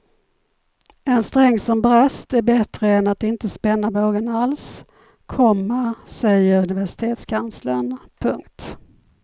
En sträng som brast är bättre än att inte spänna bågen alls, komma säger universitetskanslern. punkt